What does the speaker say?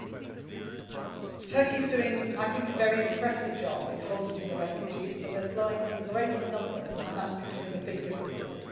I think Turkey is doing a very impressive job in hosting the refugees, but they are flowing in greater numbers and that is becoming a big difficulty.